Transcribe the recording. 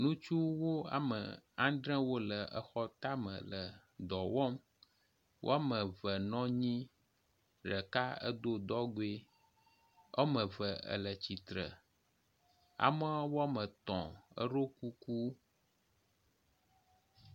Ŋutsuwo ame andre wo le exɔ tame dɔ wɔm. Wɔme eve nɔ anyi ɖeka edo dɔgɔe. Wɔme eve le tsitre. Ame wɔme etɔ̃ eɖo kuku.